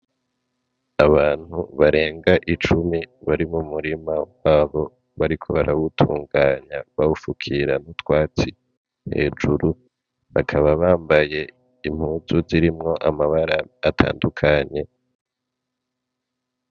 Abantu barenga icumi bari mu murima wabo bariko barawutunganya bawufukira utwatsi hejuru, bakaba bambaye impuzu zirimwo amabara atandukanye.